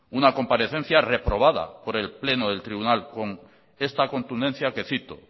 una comparecencia reprobada por el pleno del tribunal con esta contundencia que cito